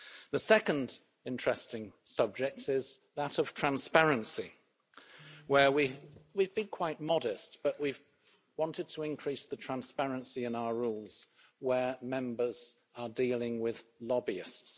The second interesting subject is that of transparency, where we've been quite modest but we've wanted to increase the transparency in our rules where Members are dealing with lobbyists.